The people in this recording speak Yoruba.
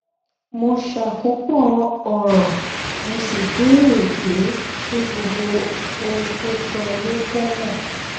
mo ṣàkópọ òrò mo sì béèrè pé ṣé gbogbo ohun tó sọ ló tónà